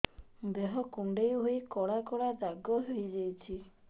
ଦେହ କୁଣ୍ଡେଇ ହେଇ କଳା କଳା ଦାଗ ହେଇଯାଉଛି